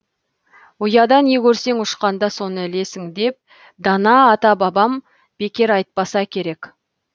ұяда не көрсең ұшқанда соны ілесің деп дана ата бабам бекер айтпаса керек